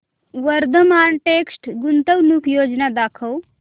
Vardhman text गुंतवणूक योजना दाखव